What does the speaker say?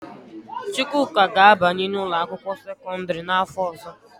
Chukwuka ga-abanye n'ụlọakwụkwọ sekọndịrị n'afọ ọzọ